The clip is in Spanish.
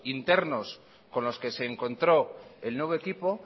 internos con los que se encontró el nuevo equipo